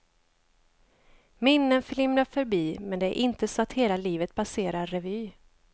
Minnen flimrar förbi, men det är inte så att hela livet passerar revy.